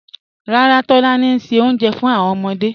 Ràrà, Tolani n ṣẹ ọ̀unjẹ̀ fún awọn ọmọdé